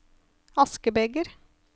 askebeger